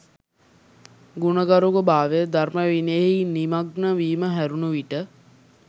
ගුණගරුක භාවය, ධර්ම විනයෙහි නිමග්න වීම හැරුණු විට